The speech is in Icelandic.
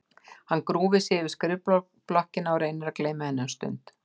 Hann grúfir sig yfir skrifblokkina og reynir að gleyma henni um stund.